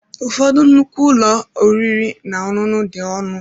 Ụfọdụ nnukwu ụlọ oriri na ọṅụṅụ dị ọnụ.